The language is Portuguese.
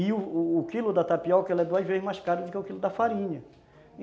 E o o quilo da tapioca é duas vezes mais caro do que o quilo da farinha.